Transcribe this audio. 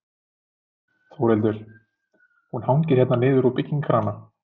Þórhildur: Hún hangir hérna niður úr byggingakrana?